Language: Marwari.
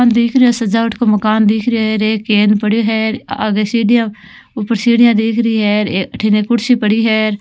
आप देख रे है सजावट को मकान दिखरयो है एरे केन पड्यो है आगे सीढिया ऊपर सीढिया दिख री है एक अठीने कुर्सी पड़ी है।